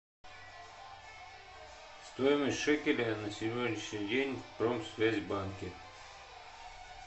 стоимость шекеля на сегодняшний день в промсвязьбанке